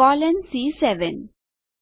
colon C7